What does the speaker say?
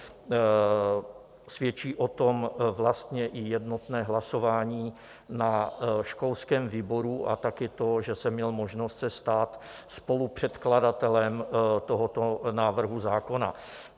Svědčí o tom vlastně i jednotné hlasování na školském výboru a také to, že jsem měl možnost se stát spolupředkladatelem tohoto návrhu zákona.